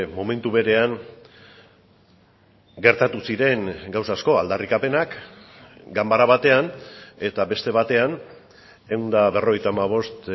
momentu berean gertatu ziren gauza asko aldarrikapenak ganbara batean eta beste batean ehun eta berrogeita hamabost